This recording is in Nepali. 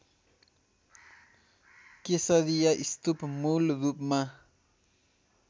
केसरिया स्तूप मूलरूपमा